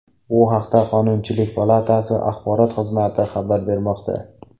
Bu haqda qonunchilik palatasi axborot xizmati xabar bermoqda.